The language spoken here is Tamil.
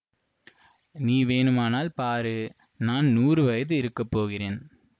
நீ வேணுமானால் பாரு நான் நூறு வயது இருக்க போகிறேன்